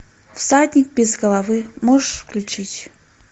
всадник без головы можешь включить